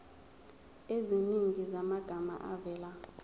eziningi zamagama avela